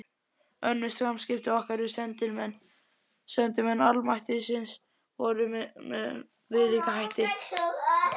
Önnur samskipti okkar við sendimenn almættisins voru með viðlíka hætti.